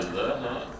Avqust ayıdır da, hə.